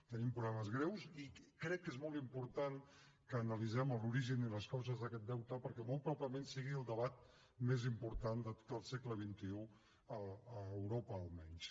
tenim problemes greus i crec que és molt important que analitzem l’origen i les causes d’aquest deute perquè molt probablement sigui el debat més important de tot el segle xxi a europa almenys